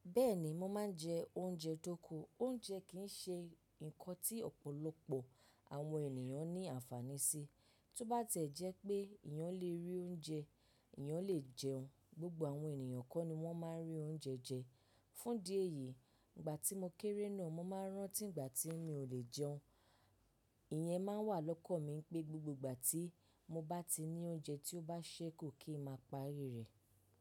Bẹ́ẹ̀ni, mo máa ń jẹ oúnjẹ tóko. Oúnjẹ kì í ṣe nǹkan tí ọ̀pọ̀lọpọ̀ àwọn ènìyàn ní àǹfàní sí. Tóbá tiẹ̀ jẹ́ pé eeyàn lé rí oúnjẹ, eeyàn lè jẹun. Gbogbo àwọn ènìyàn kọ́ ni wọ́n máa ń rí oúnjẹ jẹ. Fún di èyí, ìgbà tí mo kéré náà, mo máa ń rántí ìgbà tí mi ò lè jẹun. Ìyẹn máa wà lọ́kàn mi pé gbogbo ìgbà tí mo bá ti ní oúnjẹ tí ó bá ṣẹ́ ku kí n máa parí rẹ̀.